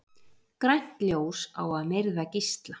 Grænt ljós á að myrða gísla